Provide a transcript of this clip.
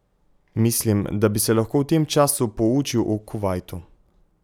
Mislim, da bi se lahko v tem času poučil o Kuvajtu.